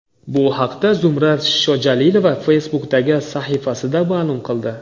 Bu haqda Zumrad Shojalilova Facebook’dagi sahifasida ma’lum qildi .